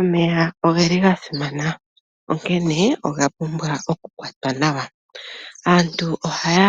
Omeya ogeli gasimana onkene ogapumbwa okukwatwa nawa. Aantu ohaya